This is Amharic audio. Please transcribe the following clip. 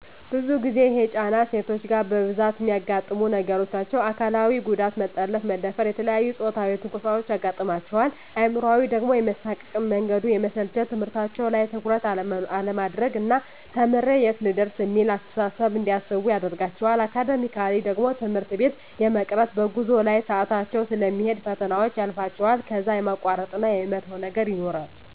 ብዙ ጊዜ ይሄ ጫና ሴቶች ጋ በብዛት እሚያጋጥሙ ነገሮች ናቸዉ። አካላዊ ጉዳት መጠለፍ፣ መደፈር፣ የተለያዬ ፆታዊ ትንኮሳዎች ያጋጥማቸዋል። አእምሯዊ ደሞ የመሳቀቅ፣ መንገዱ የመሰልቸት፣ ትምህርታቸዉ ላይ ትኩረት አለማድረግ ና ተምሬ የት ልደርስ እሚል አስተሳሰብ እንዲያስቡ ያደርጋቸዋል። አካዳሚካሊ ደሞ ትምህርት ቤት የመቅረት፣ በጉዞ ላይ ሰአታቸዉ ስለሚሄድ ፈተናዎች ያልፋቸዋል ከዛ የማቋረጥ እና የመተዉ ነገር ይኖራል።